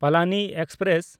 Palani express